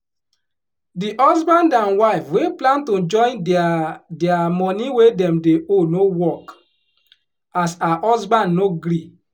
di husband and wife wey plan to join dia dia money wey dem dey owe no work as her husband no gree